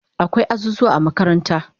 Akwai azuzuwa a makaranta